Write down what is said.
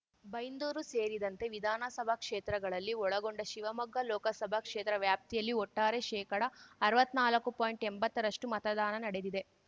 ಬೈಂದೂರು ಸೇರಿದಂತೆ ವಿಧಾನಸಭಾ ಕ್ಷೇತ್ರಗಳಲ್ಲಿ ಒಳಗೊಂಡ ಶಿವಮೊಗ್ಗ ಲೋಕಸಭಾ ಕ್ಷೇತ್ರ ವ್ಯಾಪ್ತಿಯಲ್ಲಿ ಒಟ್ಟಾರೆ ಶೇಕಡಅರ್ವತ್ತ್ನಾಲ್ಕು ಪಾಯಿಂಟ್ಎಂಬತ್ತರಷ್ಟುಮತದಾನ ನಡೆದಿದೆ